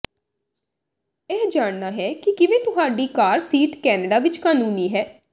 ਇਹ ਜਾਣਨਾ ਕਿ ਕਿਵੇਂ ਤੁਹਾਡੀ ਕਾਰ ਸੀਟ ਕੈਨੇਡਾ ਵਿਚ ਕਾਨੂੰਨੀ ਹੈ